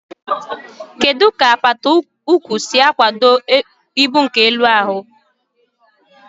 Kedu ka apata ụkwụ si akwado ibu nke elu ahụ?